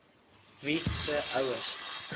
wie se ouers